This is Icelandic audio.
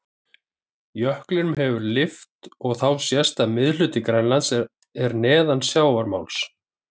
Jöklinum hefur verið lyft og þá sést að miðhluti Grænlands er neðan sjávarmáls.